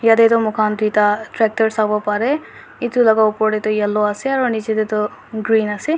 yatae toh mokhan tuita tractor sawo parae edu laka opor taetu yellow ase aro nichae tae toh green ase.